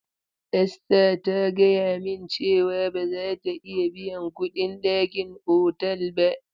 Esther ta gaya min cewa ba za ta iya biyan kuɗin ɗakin otal ba.